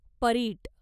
Parit